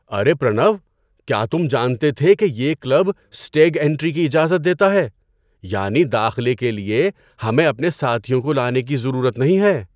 ارے پرنو، کیا تم جانتے تھے کہ یہ کلب اسٹیگ اینٹری کی اجازت دیتا ہے؟ یعنی داخلے کے لیے ہمیں اپنے ساتھیوں کو لانے کی ضرورت نہیں ہے!